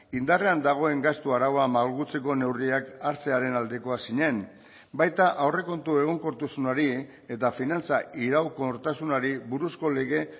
indarrean dagoen gastu araua malgutzeko neurriak hartzearen aldekoa zinen baita aurrekontu egonkortasunari eta finantza iraunkortasunari buruzko lege